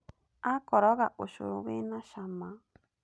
Akoroga ũcũrũ wĩ na cama